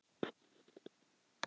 Draugar endurtók hún ákveðið.